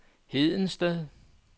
Hedensted